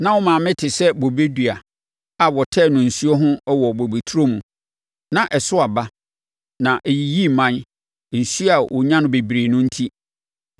“ ‘Na wo maame te sɛ bobedua a wɔtɛɛ no nsuo ho wɔ wo bobeturo mu. Na ɛso aba, na ɛyiyii mman nsuo a ɔnya no bebree no enti.